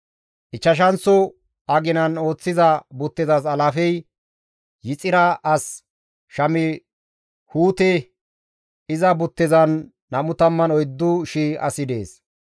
Ichchashanththo aginan ooththiza buttezas alaafey Yixira as Shamihuute; iza buttezan 24,000 asi dees.